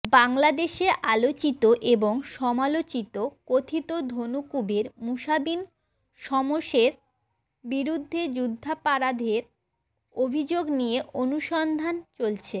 বাংলাদেশে আলোচিত এবং সমালোচিত কথিত ধনকুবের মুসা বিন শমসেরের বিরুদ্ধে যুদ্ধাপারাধের অভিযোগ নিয়ে অনুসন্ধান চলছে